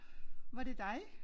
Var det dig?